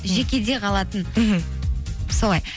жекеде қалатын мхм солай